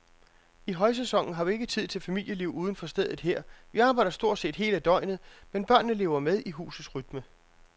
I højsæsonen har vi ikke tid til familieliv uden for stedet her, vi arbejder stort set hele døgnet, men børnene lever med i husets rytme.